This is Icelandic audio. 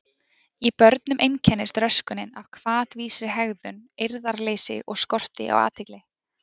Í börnum einkennist röskunin af hvatvísri hegðun, eirðarleysi og skorti á athygli.